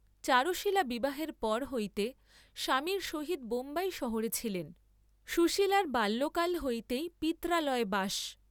চারুশীলা বিবাহের পর হইতে স্বামীর সহিত বোম্বাই শহরে ছিলেন; সুশীলার বাল্যকাল হইতেই পিত্রালয়ে বাস।